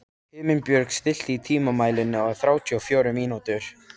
Himinbjörg, stilltu tímamælinn á þrjátíu og fjórar mínútur.